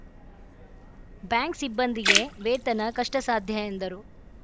bank ಸಿಬ್ಬಂದಿಗೆ ವೇತನ ಕಷ್ಟಸಾಧ್ಯ ಎಂದರು